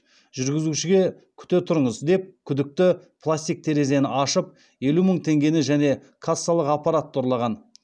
жүргізушіге күте тұрыңыз деп күдікті пластик терезені ашып елу мың теңгені және кассалық аппаратты ұрлаған